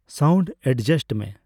sound adjust ᱢᱮ